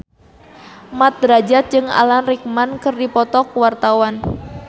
Mat Drajat jeung Alan Rickman keur dipoto ku wartawan